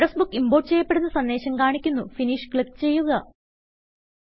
address book import ചെയ്യപ്പെടുന്ന സന്ദേശം കാണിക്കുന്നു ഫിനിഷ് ക്ലിക്ക് ചെയ്യുക